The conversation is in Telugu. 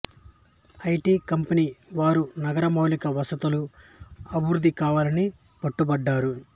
ఐ టి కంపెనీ వారు నగర మౌలిక వసతుల అభివృద్ధి కావాలని పట్టుపట్టారు